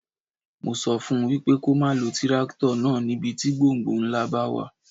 Mo sọ fún wípé kó má lo tírákítọ̀ náà ní ibi tí gbọ̀ǹgbọ̀ǹ ńlá bá wà.